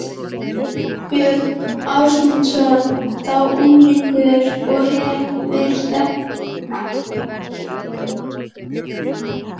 Björn Ásmundsson, þá unglingur og hefir þetta verið á áratugnum